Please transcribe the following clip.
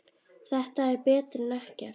Þetta er betra en ekkert